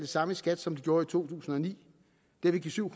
samme i skat som de gjorde i to tusind og ni det vil give syv